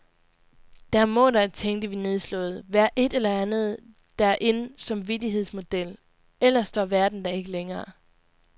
Der må da, tænkte vi nedslået, være et eller andet, der er in som vittighedsmodel, ellers står verden da ikke længere.